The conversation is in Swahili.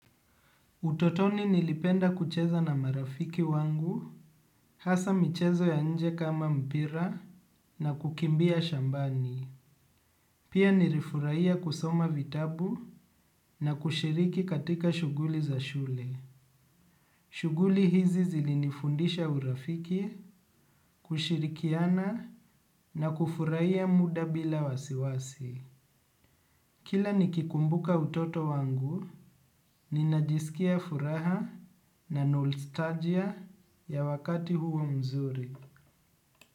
Utotoni nilipenda kucheza na marafiki wangu, hasa michezo ya nje kama mpira na kukimbia shambani. Pia nirifurahia kusoma vitabu na kushiriki katika shughuli za shule. Shuguli hizi zilinifundisha urafiki, kushirikiana na kufurahia muda bila wasiwasi. Kila nikikumbuka utoto wangu, ninajisikia furaha na nostalgia ya wakati huo mzuri.